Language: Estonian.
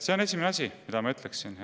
See on esimene asi, mida ma ütleksin.